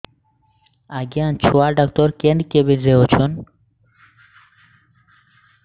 ଆଜ୍ଞା ଛୁଆ ଡାକ୍ତର କେ କେବିନ୍ ରେ ଅଛନ୍